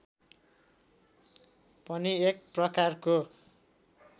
पनि एक प्रकारको